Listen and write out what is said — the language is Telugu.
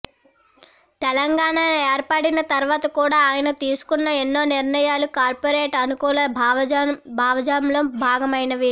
తెలంగాణ ఏర్పడిన తర్వాత కూడ ఆయన తీసుకున్న ఎన్నో నిర్ణయాలు కార్పొరేట్ అనుకూల భావజాలంలో భాగమైనవే